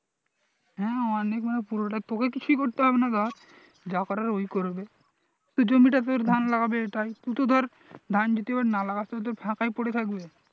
হ্যাঁ অনেক মানে পুরোটাই তোকে কিছুই করতে হবে না ধর যা করার ওই করবে তোর জমিটা পেয়ে ওর ধান লাগাবে এটাই তু তো ধর ধান যদি না লাগাস তাহলে তো ফাঁকাই পরে থাকবে